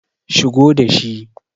shigo da shi!